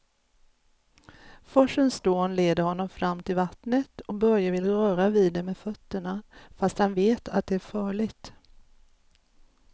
Forsens dån leder honom fram till vattnet och Börje vill röra vid det med fötterna, fast han vet att det är farligt.